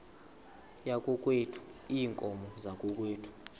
yakokwethu iinkomo zakokwethu